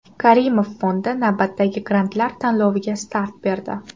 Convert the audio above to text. Karimov Fondi navbatdagi grantlar tanloviga start berdi.